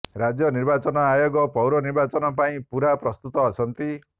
ରାଜ୍ୟ ନିର୍ବାଚନ ଆୟୋଗ ପୌର ନିର୍ବାଚନ ପାଇଁ ପୂରା ପ୍ରସ୍ତୁତ ଅଛନ୍ତି